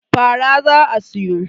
fara za a siyo